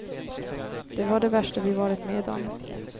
Det var det värsta vi varit med om.